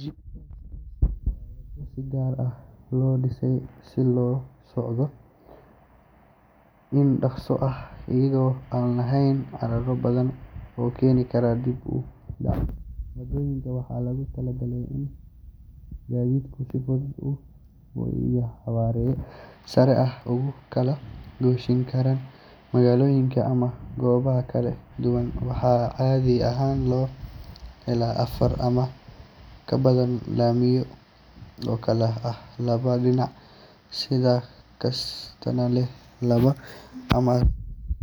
Jidka expressway waa waddo si gaar ah loo dhisay si loogu socdo si dhakhso ah, iyadoo aan lahayn carqalado badan oo keeni kara dib u dhac. Waddooyinkan waxaa loogu talagalay in gaadiidku si fudud oo xawaare sare ah ugu kala gooshin karaan magaalooyin ama gobollo kala duwan. Waxaa caadi ahaan laga helo afar ama ka badan laamiyo, oo kala ah laba dhinac, mid kastana leh laba ama saddex laamood. Waxa kale oo lagu xadidayaa xayndaabyo iyo buundooyin si aan